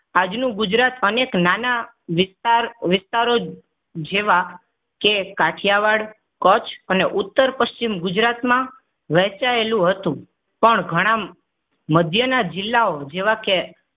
આજનું ગુજરાત અનેક નાના વિસ્તાર વિસ્તારો જેવા કે કાઠીયાવાડ કચ્છ અને ઉત્તર પશ્ચિમ ગુજરાતમાં વહેંચાયેલું હતું. પણ ઘણા મધ્યના જિલ્લાઓ જેવા કે